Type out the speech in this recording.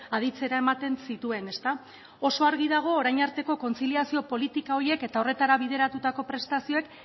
aditzera ematen zituen ezta oso argi dago orain arteko kontziliazio politika horiek eta horretara bideratutako prestazioek